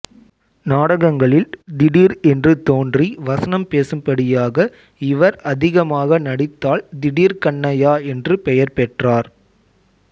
நாடகங்களில் திடீர் என்று தோன்றி வசனம் பேசும்படியாக இவர் அதிகமாக நடித்தால் திடீர் கண்ணையா என்று பெயர் பெற்றார்